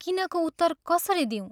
किनको उत्तर कसरी दिऊँ?